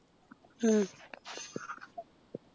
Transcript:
ഉം